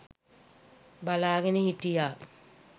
බලාගෙන හිටියා.